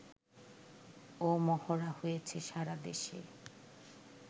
ও মহড়া হয়েছে সারা দেশে